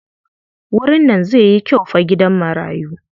Wurin nan zai yi kyau fa gidan marayu.